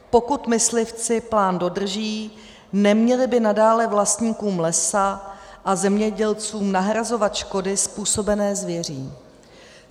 Pokud myslivci plán dodrží, neměli by nadále vlastníkům lesa a zemědělcům nahrazovat škody způsobené zvěří.